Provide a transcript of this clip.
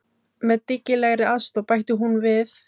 Með dyggilegri aðstoð, bætti hún við.